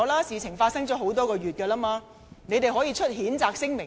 事情已發生多月，他們可以發出譴責聲明。